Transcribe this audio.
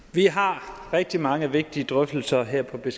vi har rigtig mange vigtige drøftelser her på